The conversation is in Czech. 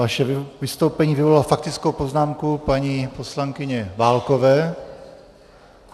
Vaše vystoupení vyvolalo faktickou poznámku paní poslankyně Válkové.